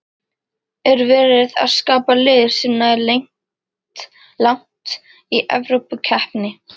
Er verið að skapa lið sem nær langt í Evrópukeppni?